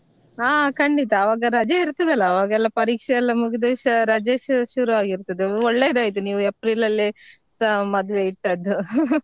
ಹಾ ಖಂಡಿತ ಆವಾಗ ರಜೆ ಇರ್ತದಲ್ಲ ಆವಾಗೆಲ್ಲ ಪರೀಕ್ಷೆಯೆಲ್ಲ ಮುಗ್ದುಸಾ ರಜೆಸಾ ಶುರುವಾಗಿರ್ತದೆ ಒಳ್ಳೇದಾಯ್ತು ನೀವ್ April ಅಲ್ಲೇ ಸ~ ಮದ್ವೆ ಇಟ್ಟದ್ದು .